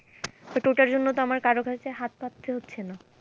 but ওটার জন্য তো আমার কারো কাছে হাত পাততে হচ্ছে না।